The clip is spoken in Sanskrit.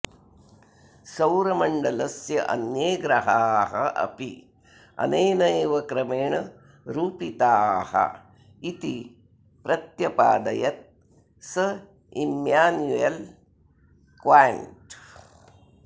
सौरमण्डलस्य अन्ये ग्रहाः अपि अनेन एव क्रमेण रूपिताः इति प्रत्यपादयत् सः इम्यान्युयल् क्याण्ट्